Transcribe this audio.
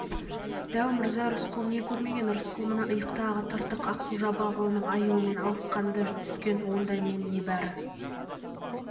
дәу мырза рысқұл не көрмеген рысқұл мына иықтағы тыртық ақсу-жабағылының аюымен алысқанда түскен онда мен небары